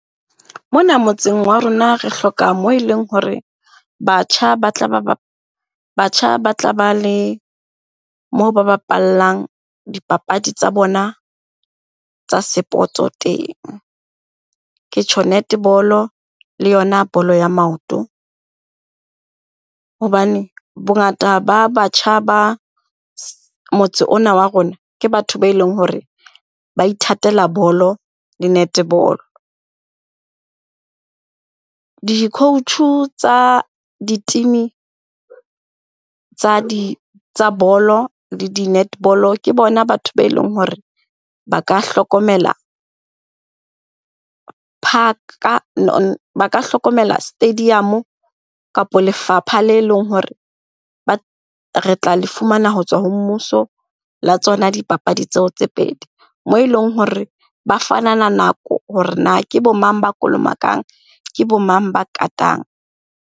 Mona motseng wa rona re hloka moo e leng hore batjha ba tla batjha ba tla ba le moo ba bapallang dipapadi tsa bona tsa sepoto teng, ke tjho netball-o le yona bolo ya maoto. Hobane bongata ba batjha ba motse ona wa rona, ke batho be e leng hore ba ithatela bolo le netball-o. Di-coach tsa di-team-i tsa di, tsa bolo le di netball-o ke bona batho ba e leng hore ba ka hlokomela ba ka hlokomela stadium-o kapo lefapha le leng hore re tla le fumana ho tswa ho mmuso la tsona dipapadi tseo tse pedi. Moo e leng hore ba fanana nako hore na ke bo mang ba kolomakang, ke bo mang ba katang.